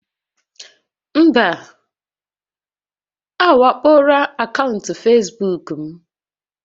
Mba, a wakpoola akaụntụ Facebook m